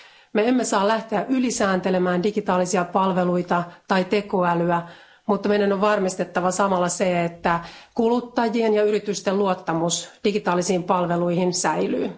Me emme saa lähteä ylisääntelemään digitaalisia palveluita tai tekoälyä, mutta meidän on varmistettava samalla se, että kuluttajien ja yritysten luottamus digitaalisiin palveluihin säilyy.